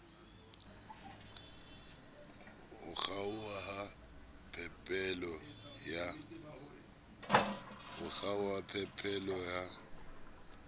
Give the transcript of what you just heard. ho kgaoha ha phepelo ya